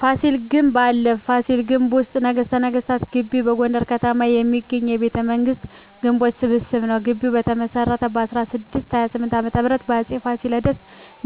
ፋሲል ግንብ አለ ፋሲል ግቢ ወይም ነገስታት ግቢ በጎንደር ከተማ የሚገኝ የቤተ መንግስታት ግንቦች ስብስብ ነዉ ግቢዉ የተመሰረተዉ በ1628ዓ.ም በአፄ ፋሲለደስ